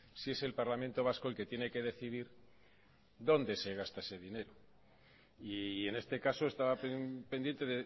si es el parlamento vasco el que tiene que decidir dónde se gasta ese dinero y en este caso estaba pendiente